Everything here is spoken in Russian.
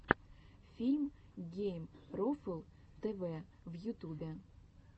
фильм геймрофл тэвэ в ютубе